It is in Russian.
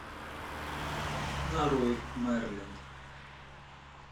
нарой мерлин